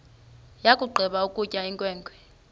yakugqiba ukutya inkwenkwe